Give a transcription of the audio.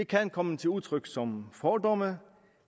kan komme til udtryk som fordomme